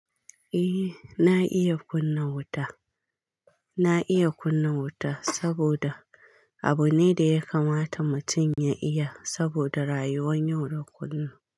Eh na iya kunna wuta, na iya kunna wuta saboda abu ne da ya kamata mutum ya iya saboda rayuwan yau da kullum.